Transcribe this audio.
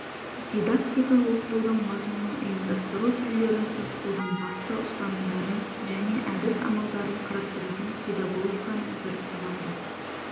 дидактика оқытудың мазмұнын ұйымдастыру түрлерін оқытудың басты ұстанымдарын және әдіс-амалдарын қарастыратын педагогиканың бір саласы